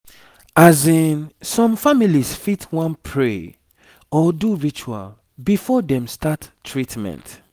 azinn some families fit wan pray or do ritual before dem start treatment